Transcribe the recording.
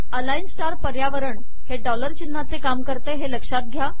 align स्टार पर्यावरण हे डॉलर चिन्हाचे काम करते लक्षात घ्या